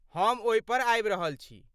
हम ओहि पर आबि रहल छी।